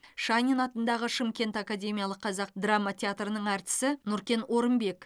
шанин атындағы шымкент академиялық қазақ драма театрының әртісі нұркен орынбек